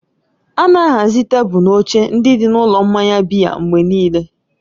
A na-ahazi tebụl na oche ndị dị n'ụlọ mmanya biya mgbe niile.